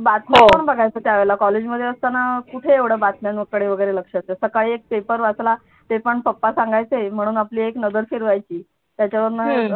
बातम्या पण बघायचो त्या वेळेला कॉलेजमध्ये असताना कुठे एवढ्या बातम्यांकडे वगैरे लक्ष असायचं सकाळी एक paper वाचला ते पण पप्पा सांगायचे म्हणून आपली एक नजर फिरवायची त्याच्यावरन